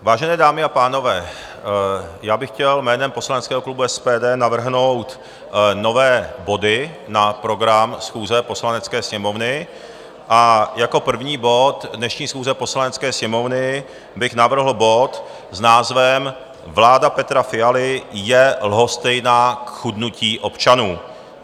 Vážené dámy a pánové, já bych chtěl jménem poslaneckého klubu SPD navrhnout nové body na program schůze Poslanecké sněmovny a jako první bod dnešní schůze Poslanecké sněmovny bych navrhl bod s názvem Vláda Petra Fialy je lhostejná k chudnutí občanů.